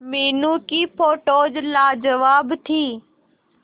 मीनू की फोटोज लाजवाब थी